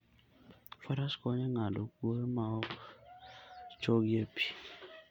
Faras konyo e ng'ado kwoyo ma ok chogi e pi.